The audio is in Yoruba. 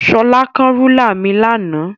Shola kán rúlà mi lánàá.